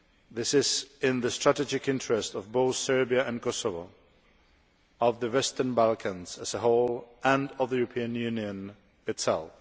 This is in the strategic interests of both Serbia and Kosovo, of the Western Balkans as a whole, and of the European Union itself.